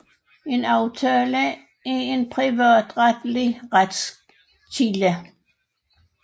En aftale er en privatretlig retskilde